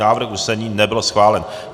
Návrh usnesení nebyl schválen.